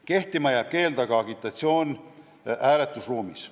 Kehtima jääb keeld teha agitatsiooni hääletusruumis.